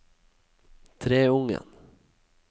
Treungen